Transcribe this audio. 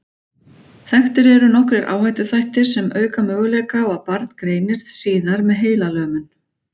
Þekktir eru nokkrir áhættuþættir sem auka möguleika á að barn greinist síðar með heilalömun.